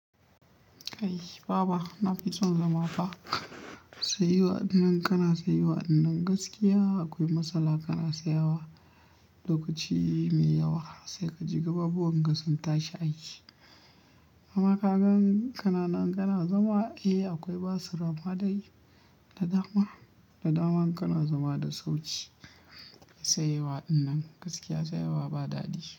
Kai baba! Na fi son zama ba. Sayewa ɗinnan kana sayewa ɗinnan gaskiya akwai matsala kana sayewa. Lokaci mai yawa sai ka ji gababuwan ka sun tashi aiki. Amma kagan ƙananan kana zama, eh akwai basir amma dai da dama, da dama kana zama da sauƙi. Tsayawa ɗinnan gaskiya tsayawa ba daɗi.